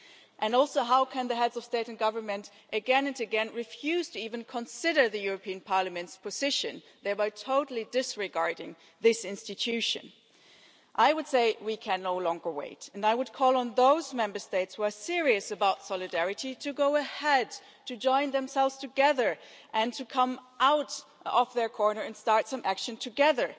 And also, how can the heads of state and government again and again refuse to even consider the European Parliament's position, thereby totally disregarding this institution? I would say we can no longer wait, and I would call on those Member States who are serious about solidarity to go ahead, to join themselves together and to come out of their corner and start some action together.